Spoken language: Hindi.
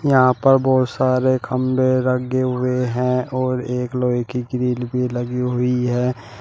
यहां पर बहुत सारे खंभे लगे हुए हैं और एक लोहे की ग्रिल भी लगी हुई है।